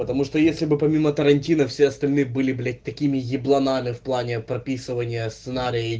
потому что если бы помимо тарантино все остальные были блять такими ебланами в плане прописывания сценария